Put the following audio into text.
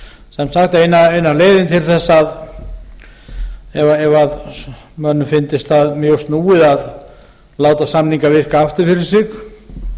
sem sagt eina leiðin til þess að ef mönnum fyndist það mjög snúið að láta samninga virka aftur fyrir sig